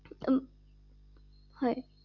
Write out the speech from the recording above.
অ হয়